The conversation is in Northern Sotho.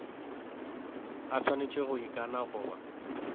a swanetše go ikana goba